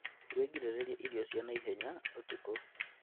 Wĩgirĩrĩrie irio cia naihenya ũtukũ